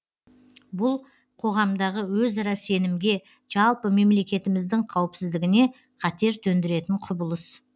бұл қоғамдағы өзара сенімге жалпы мемлекетіміздің қауіпсіздігіне қатер төндіретін құбылыс